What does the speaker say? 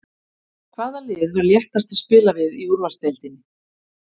Hvaða lið var léttast að spila við í úrvalsdeildinni?